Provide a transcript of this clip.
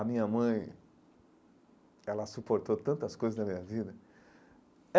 A minha mãe, ela suportou tantas coisas na minha vida.